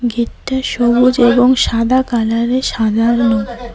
Gate -টা সবুজ এবং সাদা কালার -এ সাজানো।